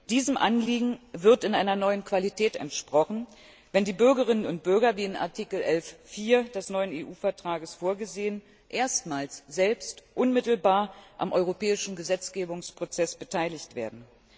Diesem Anliegen wird in einer neuen Qualität entsprochen, wenn die Bürgerinnen und Bürger wie in Artikel 11 Absatz 4 des neuen EU Vertrags vorgesehen erstmals selbst unmittelbar am europäischen Gesetzgebungsprozess beteiligt werden.